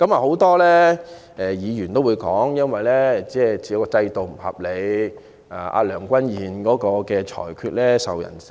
很多議員也說制度不合理，而梁君彥主席的裁決亦備受非議。